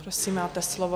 Prosím, máte slovo.